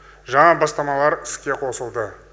жаңа бастамалар іске қосылды